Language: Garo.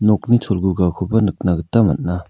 nokni cholgugakoba nikna gita man·a.